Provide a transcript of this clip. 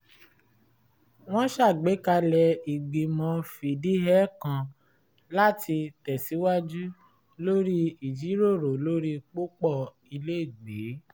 wọ́n ṣàgbékalẹ̀ ìgbìmọ̀ fìdíhẹẹ́ kan láti tẹ̀síwaju lórí ìjíròrò lórí pópọ̀ ilẹ́gbẹ̀ẹ́